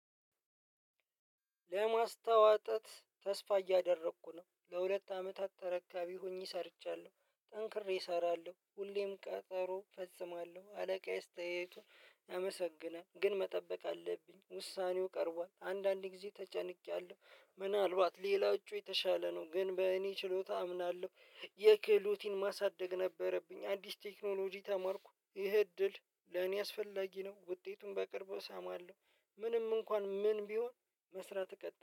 ለማስተዋጠት ተስፋ እያደረኩ ነው ለሁለት አመታት ተረካቢ ሆኜ ሰርቻለሁ ጠንክሬ እሰራለሁ ሁሌም ቀጠሮ ፈጽማለሁ አለቃየ አስተያየቱን አመሰግናለሁ ግን መጠበቅ አለብኝ ውሳኔው ቀርቧል። አንዳንዴ ጊዜ ተጨንቄያለሁ ምናልባት ሌላው እጩ የተሻለ ነው ግን በእኔ ችሎታ አምናለሁ። የክህሎቲን ማሳደግ ነበረብኝ አዲስ ቴክኖሎጂ ተማርኩ ይሄ እድል ለኔ አስፈላጊ ነው። ውጤቱን በቅርቡ እሰማለሁ። ምንም እንኳን ምን ቢሆን መስራት እቀጥ